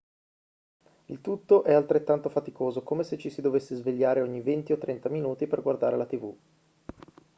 il tutto è altrettanto faticoso come se ci si dovesse svegliare ogni venti o trenta minuti per guardare la tv